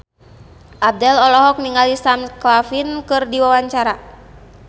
Abdel olohok ningali Sam Claflin keur diwawancara